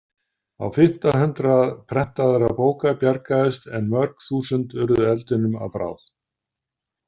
Á fimmta hundrað prentaðra bóka bjargaðist en mörg þúsund urðu eldinum að bráð.